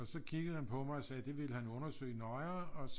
Og så kiggede han på mig og sagde det ville han undersøge nøjere og